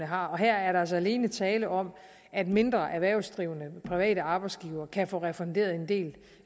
har og her er der altså alene tale om at mindre erhvervsdrivende private arbejdsgivere kan få refunderet en del